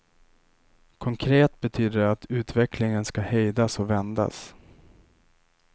Konkret betyder det att utvecklingen skall hejdas och vändas.